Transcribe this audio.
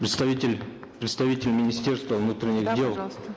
представитель представитель министерства внутренних дел да пожалуйста